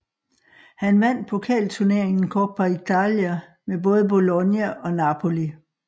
Han vandt pokalturneringen Coppa Italia med både Bologna og Napoli